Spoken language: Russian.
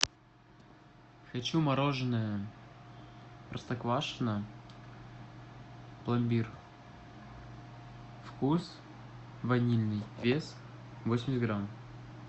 хочу мороженое простоквашино пломбир вкус ванильный вес восемьдесят грамм